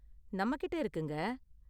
நம்மகிட்ட இருக்குங்க